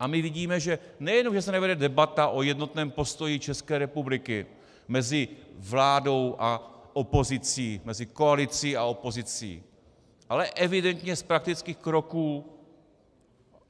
A my vidíme, že nejenom že se nevede debata o jednotném postoji České republiky mezi vládou a opozicí, mezi koalicí a opozicí, ale evidentně z praktických kroků,